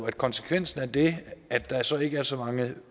at konsekvensen af det er at der så ikke er så mange